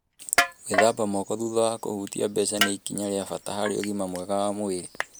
Gũthambia moko thutha wa kũhutia mbeca nĩ ikinya rĩa bata harĩ ũgima mwega wa mwĩrĩ.